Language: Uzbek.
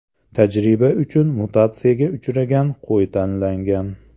Tajriba uchun mutatsiyaga uchragan qo‘y tanlangan.